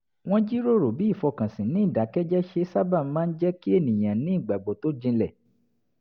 wọ́n jíròrò bí ìfọkànsìn ní ìdákẹ́jẹ́ẹ́ ṣe sábà máa ń jẹ́ kí ènìyàn ní ìgbàgbọ́ tó jinlẹ̀